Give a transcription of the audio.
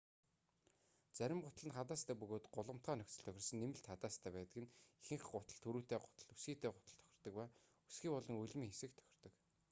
зарим гутал нь хадаастай бөгөөд гулгамтгай нөхцөлд тохирсон нэмэлт хадаастай байдаг нь ихэнх гутал түрийтэй гутал өсгийтэй гуталд тохирдог ба өсгий болон өлмийн хэсэгт тохирдог